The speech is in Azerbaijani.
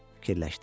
Fikirləşdi.